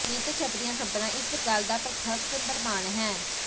ਨਿੱਤ ਛੱਪਦੀਆਂ ਖ਼ਬਰਾਂ ਇਸ ਗੱਲ ਦਾ ਪ੍ਰਤੱਖ ਪ੍ਰਮਾਣ ਹਨ